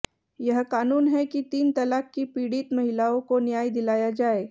यह कानून है कि तीन तलाक की पीड़ित महिलाओं को न्याय दिलाया जाए